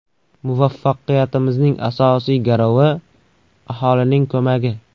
Muvaffaqiyatimizning asosiy garovi aholining ko‘magi.